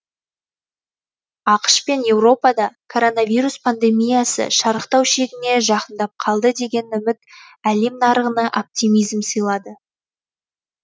ақш пен еуропада коронавирус пандемиясы шарықтау шегіне жақындап қалды деген үміт әлем нарығына оптимизм сыйлады